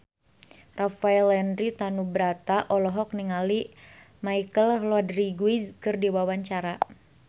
Rafael Landry Tanubrata olohok ningali Michelle Rodriguez keur diwawancara